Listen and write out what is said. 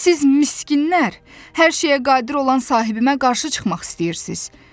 Siz miskinlər, hər şeyə qadir olan sahibimə qarşı çıxmaq istəyirsiz?